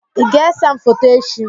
I ga-ese m foto echi?